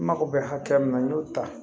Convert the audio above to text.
N mago bɛ hakɛ min na n y'o ta